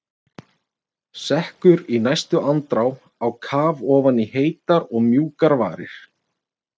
Sekkur í næstu andrá á kaf ofan í heitar og mjúkar varir.